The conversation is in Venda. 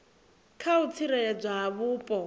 kha u tsireledzwa ha vhupo